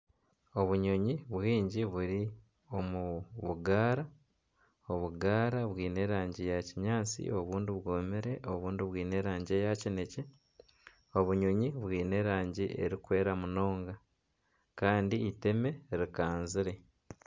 Obunyonyi bwingi buri omu bugaara, obugaara bwine erangi ya kinyaatsi, obundi bwomire ,obundi bwine erangi eya kinekye, obunyonyi bwine erangi erikwera munonga kandi iteme rikanzire.